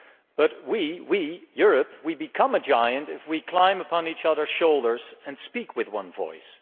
But we, Europe, become a giant if we climb upon each other's shoulders and speak with one voice.